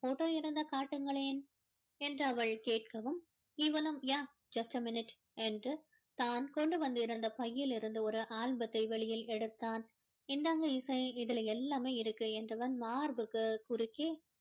photo இருந்தா காட்டுங்களேன் என்று அவள் கேட்கவும் இவனும் yeah just a minute என்று தான் கொண்டு வந்திருந்த பையில் இருந்து ஒரு ஆல்பத்தை வெளியில் எடுத்தான் இந்தாங்க இசை இதில எல்லாமே இருக்கு என்றவன் மார்புக்கு குறுக்கே